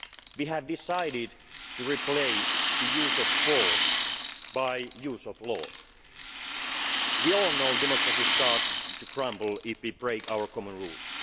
We have decided to replace the use of force by the use of law. We all know democracy starts to crumble if we break our common